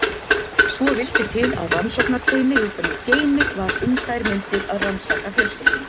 Svo vildi til að rannsóknarteymi utan úr geimi var um þær mundir að rannsaka fjölskylduna.